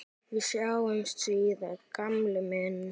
Við sjáumst síðar gamli minn.